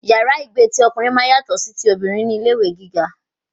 Yàrá ìgbé ti ọkùnrin máa ń yàtọ sí ti obìnrin ní ilé ẹ̀kọ́ gíga